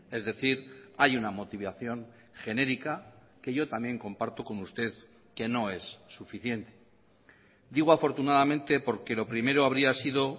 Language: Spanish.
es decir hay una motivación genérica que yo también comparto con usted que no es suficiente digo afortunadamente porque lo primero habría sido